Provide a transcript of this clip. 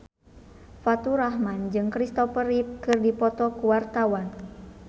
Faturrahman jeung Kristopher Reeve keur dipoto ku wartawan